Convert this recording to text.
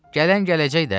Gələn gələcək də.